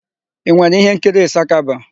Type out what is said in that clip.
I nwere íhénkiri Ịsakaba?